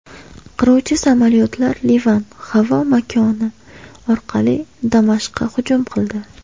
Qiruvchi samolyotlar Livan havo makoni orqali Damashqqa hujum qildi.